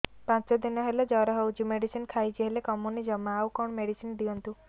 ପାଞ୍ଚ ଦିନ ହେଲା ଜର ହଉଛି ମେଡିସିନ ଖାଇଛି ହେଲେ କମୁନି ଜମା ଆଉ କଣ ମେଡ଼ିସିନ ଦିଅନ୍ତୁ